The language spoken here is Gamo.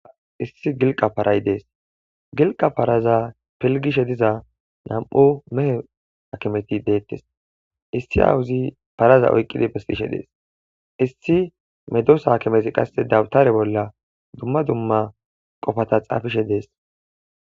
issi gilqa paray dees gilqa paraza pelgishe diza nam7u mehe akimeti deettes issi awuzi paraza oyqqidi besishe dees issi medoosa kimeti qasse dawutare bolla dumma dumma qofata xaafishe dees